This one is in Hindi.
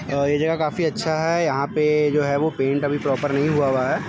आ ये जगह काफी अच्छा है यहाँ पे जो है पेंट अभी प्रोपर नहीं हुआ है।